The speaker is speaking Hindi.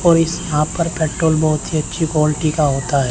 और इस यहां पर पेट्रोल बहोत अच्छी क्वालिटी का होता है।